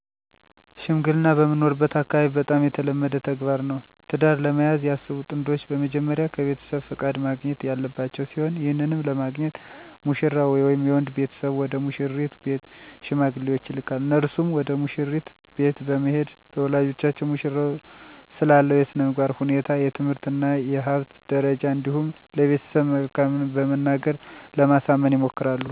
ሽምግልና በምኖርበት አካባቢ በጣም የተለመደ ተግባር ነው። ትዳር ለመያዝ ያሰቡ ጥንዶች በመጀመሪያ ከቤተሰብ ፍቃድ ማግኘት ያለባቸው ሲሆን ይህንንም ለማግኘት ሙሽራው ወይም የወንድ ቤተሰብ ወደ ሙሽሪት ቤት ሽማግሌዎችን ይልካል። እነርሱም ወደ መሽሪት ቤት በመሄድ ለወላጆቿ ሙሽራው ስላለው የስነምግባር ሁኔታ፣ የትምህርት እና የሀብት ደረጃ እንዲሁም ስለቤተሰቡ መልካምት በመናገር ለማሳመን ይሞክራሉ። ከዚህም በኋላ የሙሽሪት ቤተሰብ በጉዳዩ ላይ ለመምከር እና ውሳኔ ላይ ለመድረስ ጊዜ እንዲኖራቸው በማለት ከ7 ወይም 15 ቀን በኃላ እንዲመጡ ሽማግሌዎቹን ቀጠሮ ሰጥተው ያሰናብታሉ። በጊዜ ቀጠሮው ሲመለሱ ቤተሰብ የደረሰበትን ዉሳኔ ተናግሮ፣ ለሽማግሌወቹም እና የቅርብ ቤተሰብ ተጠርቶ ግብዣ ይደረጋል። በመቀጠልም የሰርጉ ሰነሰርአት የሚደረግበት ቀን በመወስን ይለያያሉ።